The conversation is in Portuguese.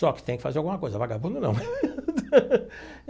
Só que tem que fazer alguma coisa, vagabundo não.